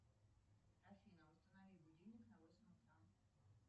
афина установи будильник на восемь утра